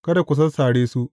Kada ku sassare su.